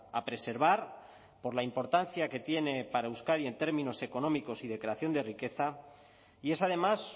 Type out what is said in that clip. a preservar por la importancia que tiene para euskadi en términos económicos y de creación de riqueza y es además